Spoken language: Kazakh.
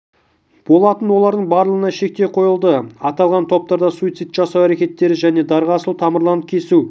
болатын олардың барлығына шектеу қойылды аталған топтарда суицидті жасау әрекеттері және дарға асылу тамырларын кесу